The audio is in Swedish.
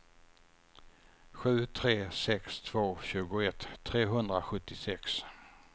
sju tre sex två tjugoett trehundrasjuttiosex